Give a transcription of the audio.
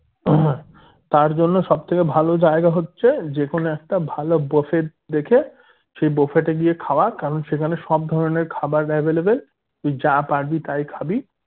তার জন্য সব থেকে ভালো জায়গা হচ্ছে যেকোনো একটা ভালো buffet দেখে সেই buffet এ গিয়ে খাওয়া কারণ সেখানে সব ধরণের খাবার available তুই যা পারবি তাই খাবি